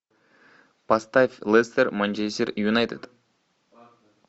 поставь лестер манчестер юнайтед